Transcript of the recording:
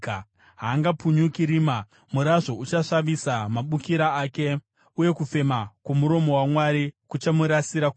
Haangapunyuki rima; murazvo uchasvavisa mabukira ake, uye kufema kwomuromo waMwari kuchamurasira kure.